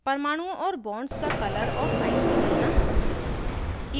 परमाणुओं और bonds का color और size बदलना